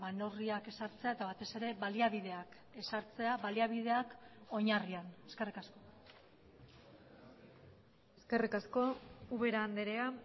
neurriak ezartzea eta batez ere baliabideak ezartzea baliabideak oinarrian eskerrik asko eskerrik asko ubera andrea